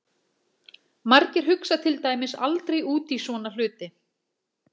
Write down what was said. Margir hugsa til dæmis aldrei út í svona hluti!